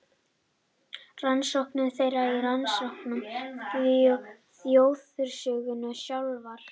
Rannsókn þeirra er rannsókn þjóðarsögunnar sjálfrar.